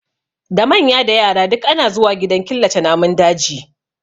Da manya da yara duk ana zuwa gidan killace namun daji